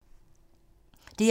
DR1